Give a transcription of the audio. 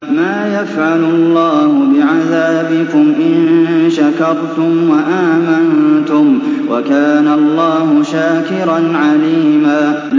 مَّا يَفْعَلُ اللَّهُ بِعَذَابِكُمْ إِن شَكَرْتُمْ وَآمَنتُمْ ۚ وَكَانَ اللَّهُ شَاكِرًا عَلِيمًا